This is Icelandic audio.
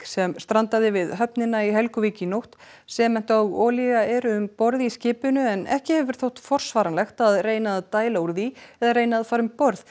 sem strandaði við höfnina í Helguvík í nótt sement og olía eru um borð í skipinu en ekki hefur þótt forsvaranlegt að reyna að dæla úr því eða reyna að fara um borð